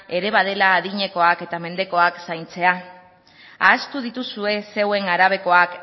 ere badela adinekoak eta mendekoak zaintzea ahaztu dituzue zeuen arabekoak